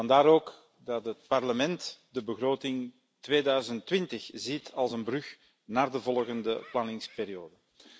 Vandaar ook dat het Parlement de begroting 2020 ziet als een brug naar de volgende planningsperiode.